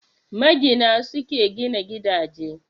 Magina, su ke gina gidaje.